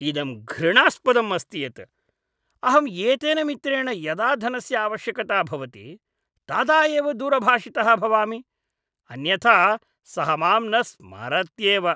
इदं घृणास्पदम् अस्ति यत् अहम् एतेन मित्रेण यदा धनस्य आवश्यकता भवति तदा एव दूरभाषितः भवामि, अन्यथा सः माम् न स्मरत्येव।